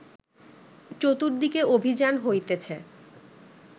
চতুর্দিকে অভিযান হইতেছে